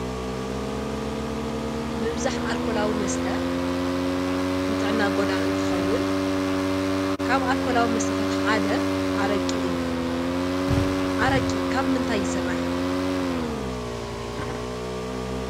ምብዛሕ ኣልኮላዊ መስተ ንጥዕና ጎዳኢ እንትኸውን ካብ ኣልኮላዊ መስተታት ሓደ ኣረቂ አዩ። ኣረቂ ካብምንታይ ይስራሕ?